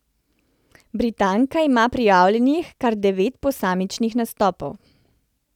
Britanka ima prijavljenih kar devet posamičnih nastopov.